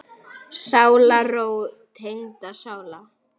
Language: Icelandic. Sálarró tengdra sála.